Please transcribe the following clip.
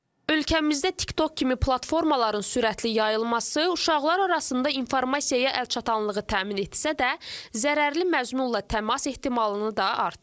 Ölkəmizdə TikTok kimi platformaların sürətli yayılması uşaqlar arasında informasiyaya əlçatanlığı təmin etsə də, zərərli məzmunla təmas ehtimalını da artırır.